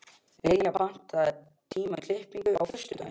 Liljar, pantaðu tíma í klippingu á föstudaginn.